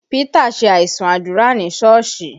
Pita ṣe aisun àdúrà ní Sọ́ọ̀sì